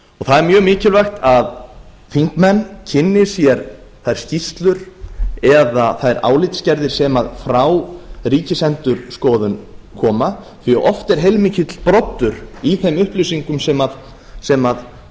það er mjög mikilvægt að þingmenn kynni hér þær skýrslur eða þær álitsgerðir sem frá ríkisendurskoðun koma því að oft er heilmikill broddur í þeim upplýsingum sem